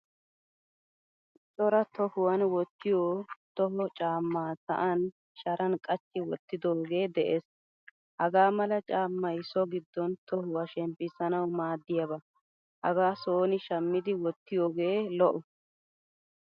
Cora tohuwan wottiyo toho caama sa'an sharan qachchi wottidoge de'ees. Hagaamla caamay so giddon tohuwaa shemmpisanawu maadiyaba. Hagaa sooni shamidi wotiyoge lo'o.